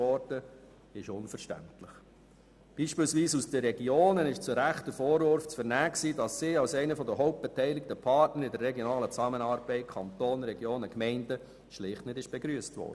Aus den Regionen wurde beispielsweise zu Recht der Vorwurf laut, sie seien als einer der hauptbeteiligten Partner in der regionalen Zusammenarbeit von Kanton, Regionen und Gemeinden nicht einmal begrüsst worden.